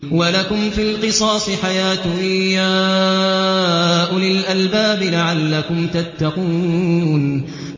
وَلَكُمْ فِي الْقِصَاصِ حَيَاةٌ يَا أُولِي الْأَلْبَابِ لَعَلَّكُمْ تَتَّقُونَ